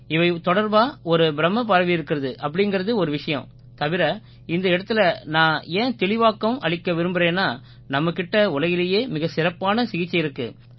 இவை தொடர்பா ஒரு பிரமை பரவியிருக்கிறது அப்படீங்கறது ஒரு விஷயம் தவிர இந்த இடத்திலே நான் ஏன் தெளிவாக்கம் அளிக்க விரும்பறேன்னா நம்மகிட்ட உலகிலேயே மிகச் சிறப்பான சிகிச்சை இருக்கு